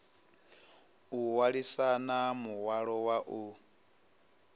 o hwalisana muhwalo wa u